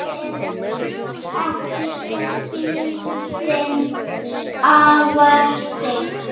ekki er síldin afar stygg